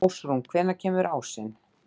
Ástrún, hvenær kemur ásinn?